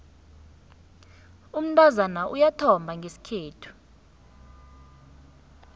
umntazana uyathomba ngesikhethu